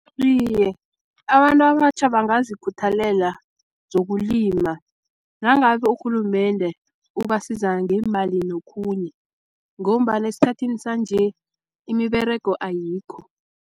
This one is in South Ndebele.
Iye, abantu abatjha bangazikhuthalela zokulima nangabe urhulumende ubasiza ngeemali nokhunye, ngombana esikhathini sanje imiberego ayikho.